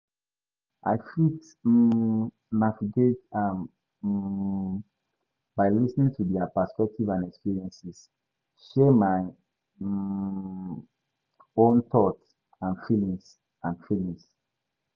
i fit um navigate am um by lis ten ing to their perspectives and experiences, share my um own thoughts and feelings. and feelings.